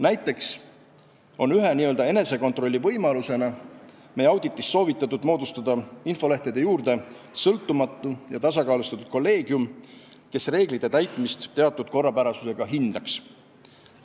Näiteks on ühe n-ö enesekontrolli võimalusena meie auditis soovitatud moodustada infolehtede juurde sõltumatu ja tasakaalustatud kolleegium, kes reeglite täitmist teatud korrapärasusega hindaks.